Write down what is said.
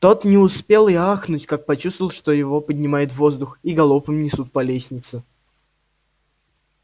тот не успел и ахнуть как почувствовал что его поднимают в воздух и галопом несут по лестнице